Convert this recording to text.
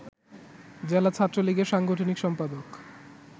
জেলা ছাত্রলীগের সাংগঠনিক সম্পাদক